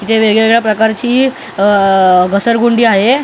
इथे वेगवेगळ्या प्रकारची अअ घसरगुंडी आहे अ--